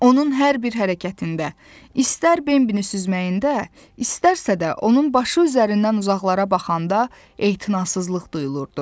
Onun hər bir hərəkətində, istər Bembinin süzməyində, istərsə də onun başı üzərindən uzaqlara baxanda etinasızlıq duyulurdu.